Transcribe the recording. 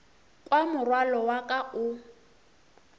kwa morwalo wa ka o